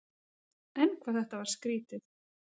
En hvað þetta var skrýtið.